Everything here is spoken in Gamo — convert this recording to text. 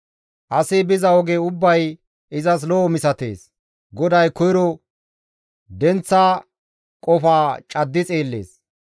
Asi biza oge ubbay izas lo7o misatees; GODAY koyro denththa qofaa caddi xeellees.